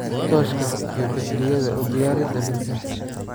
Tooshka iyo baytariyada u diyaari daminta